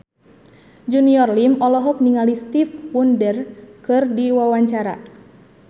Junior Liem olohok ningali Stevie Wonder keur diwawancara